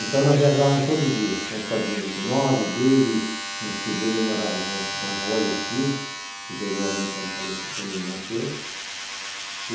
Então nós viajávamos todo dia com o Fordinho vinte e nove, dele, no tio dele, ele morava com a avó e os tios, que perdeu a mãe quando fale quando nasceu. E